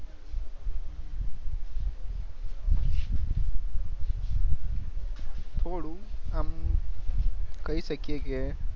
થોડું આમ કઈ સકીએ કે